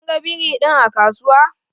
Kin ga biri din a kasuwa?